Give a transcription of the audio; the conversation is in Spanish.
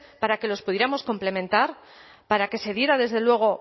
para que los pudiéramos complementar para que se diera desde luego